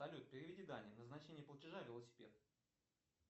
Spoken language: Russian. салют переведи дане назначение платежа велосипед